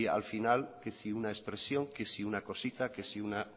al final que si una expresión que si una cosita que si una